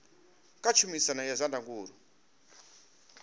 kha tshumisano ya zwa ndangulo